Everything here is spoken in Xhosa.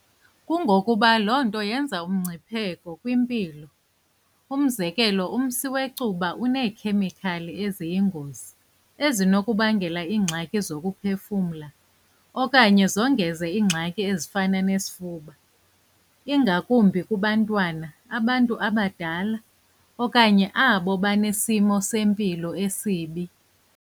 Kungokuba loo nto yenza umngcipheko kwimpilo. Umzekelo umsi wecuba uneekhemikhali eziyingozi ezinokubangela iingxaki zokuphefumla okanye zongeze iingxaki ezifana nesifuba, ingakumbi kubantwana, abantu abadala okanye abo banesimo sempilo esibi.